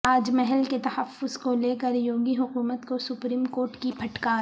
تاج محل کے تحفظ کو لیکر یوگی حکومت کو سپریم کورٹ کی پھٹکار